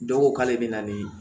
Dɔw ko k'ale bɛ na ni